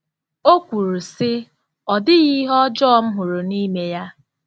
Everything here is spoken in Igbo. O kwuru, sị: “Ọ dịghị ihe ọjọọ m hụrụ n'ime ya.